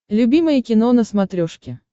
любимое кино на смотрешке